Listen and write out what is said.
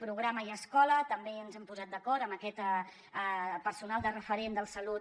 programa i escola també ens hem posat d’acord amb aquest personal de referent de la salut